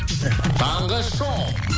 таңғы шоу